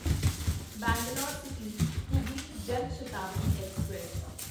Bangalore city Hubli Jan Shatabdi express